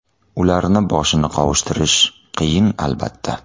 Ularni boshini qovushtirish qiyin, albatta.